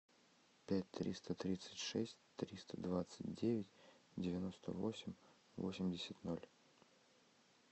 пять триста тридцать шесть триста двадцать девять девяносто восемь восемьдесят ноль